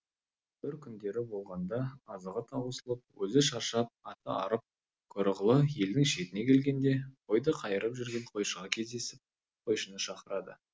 бір күндері болғанда азығы таусылып өзі шаршап аты арып көрұғылы елдің шетіне келгенде қойды қайырып жүрген қойшыға кездесіп қойшыны шақырады